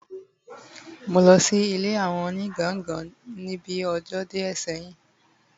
mo losi ile awo oni gangangan ni bi ojo die seyin